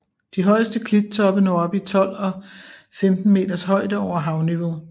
De højeste klittoppe når op i 12 og 15 meters højde over havniveau